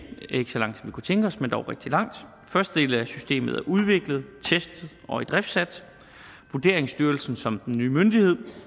ikke så langt som vi kunne tænke os men dog rigtig langt første del af systemet er udviklet testet og idriftsat vurderingsstyrelsen som er den nye myndighed